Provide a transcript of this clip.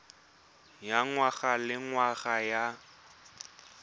ya ngwaga le ngwaga ya